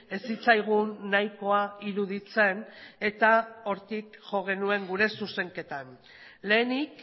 ez zitzaigun nahikoa iruditzen eta hortik jo genuen gure zuzenketan lehenik